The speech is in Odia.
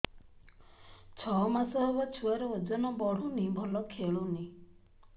ଛଅ ମାସ ହବ ଛୁଆର ଓଜନ ବଢୁନି ଭଲ ଖେଳୁନି